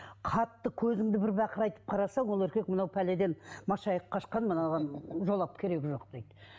қатты көзіңді бір бақырайтып қараса ол еркек мынау пәледе машайып қашқан мынаған жолап керегі жоқ дейді